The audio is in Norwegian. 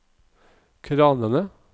kranene